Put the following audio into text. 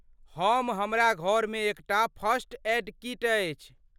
हम हमरा घरमे एकटा फर्स्ट ऐड किट अछि।